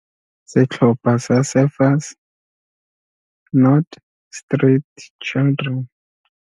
Setlhopha sa Surfers Not Street Children.